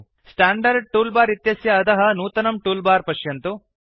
standard toolbar इत्यस्य अधः नूतनं टूलबार पश्यन्तु